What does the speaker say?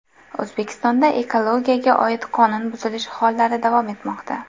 O‘zbekistonda ekologiyaga oid qonun buzilishi hollari davom etmoqda.